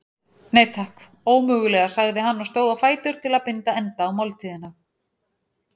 Nei, takk, ómögulega sagði hann og stóð á fætur til að binda enda á máltíðina.